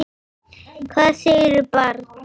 Hvað segirðu barn?